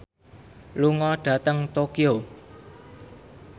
lunga dhateng Tokyo